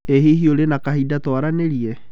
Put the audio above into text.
ĩ hihi ũrĩ na kahinda twaranĩrie?